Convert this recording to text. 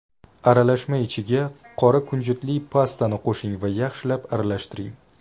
Aralashma ichiga qora kunjutli pastani qo‘shing va yaxshilab aralashtiring.